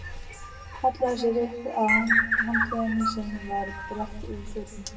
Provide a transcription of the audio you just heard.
Hallaði sér upp að handklæðinu sem var breitt yfir fötin.